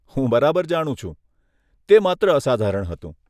હું બરાબર જાણું છું! તે માત્ર અસાધારણ હતું.